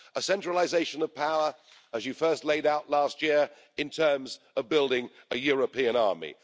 a centralisation of power, as you first laid out last year, in terms of building a European army